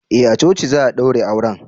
eh a coci za a daure aure